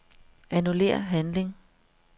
Annullér handling.